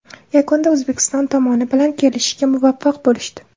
Yakunda O‘zbekiston tomoni bilan kelishishga muvaffaq bo‘lishdi.